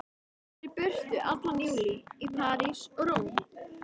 Ég var í burtu allan júlí, í París og Róm.